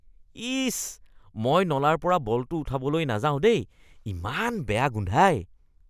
ইচ, মই নলাৰ পৰা বলটো উঠাবলৈ নাযাও দেই। ইমান বেয়া গোন্ধায়।